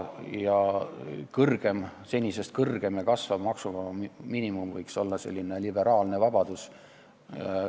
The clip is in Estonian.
Senisest kõrgem ja kasvav maksuvaba miinimum võiks olla selline liberaalne vabadus.